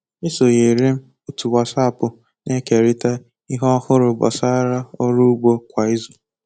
E sonyeere m otu Wasapụ na-ekerịta ihe ọhụrụ gbasara ọrụ ugbo kwa izu